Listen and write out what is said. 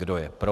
Kdo je pro.